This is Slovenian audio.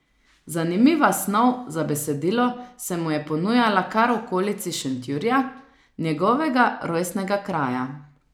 Zanimiva snov za besedilo se mu je ponujala kar v okolici Šentjurija, njegovega rojstnega kraja.